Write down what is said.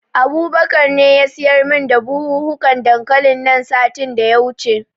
Abubakar ne ya siyar min da buhunhukan dankalin nan satin da ya wuce.